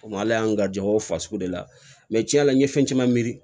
Ala y'an ga jɛn o fasugu de la cɛn yɛrɛ la n ye fɛn caman miiri